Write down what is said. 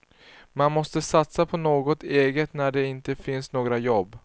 Man måste satsa på något eget när det inte finns några jobb.